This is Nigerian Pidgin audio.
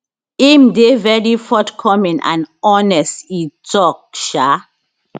im dey very forthcoming and honest e tok um